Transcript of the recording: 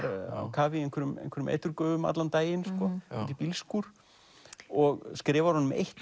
kafi í einhverjum einhverjum eiturgufum allan daginn úti í bílskúr og skrifar honum eitt